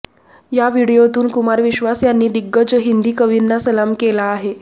या व्हिडिओतून कुमार विश्वास यांनी दिग्गज हिंदी कवींना सलाम केला आहे